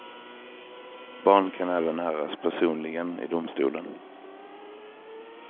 Barn kan även höras personligen i domstolen.